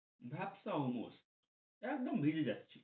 ভাপসা অমর একদম ভিজে যাচ্ছি